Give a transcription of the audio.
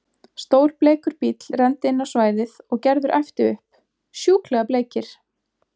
Stór bleikur bíll renndi inn á svæðið og Gerður æpti upp: Sjúklega bleikir!